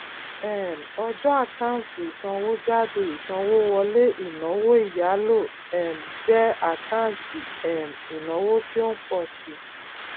um ọjọ àkáǹtì ìsanwójáde ìsanwówọlé inawo ìyálò um jẹ àkáǹtì um ìnáwó tí ó ń ń pọ síi